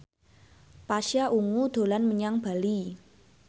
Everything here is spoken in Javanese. Pasha Ungu dolan menyang Bali